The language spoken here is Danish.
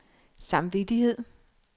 samvittighed